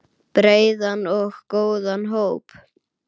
Breiðan og góðan hóp.